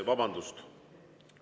Vabandust!